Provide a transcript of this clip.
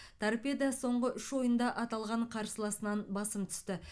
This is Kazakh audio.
торпедо соңғы үш ойында аталған қарсыласынан басым түсті